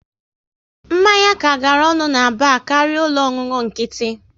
Mmanya ka gara ọnụ na bar karịa ụlọ ọṅụṅụ nkịtị